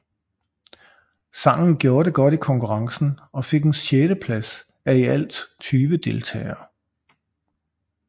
Sangen gjorde det godt i konkurrencen og fik en sjetteplads af i alt 20 deltagere